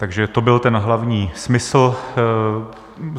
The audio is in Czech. Takže to byl ten hlavní smysl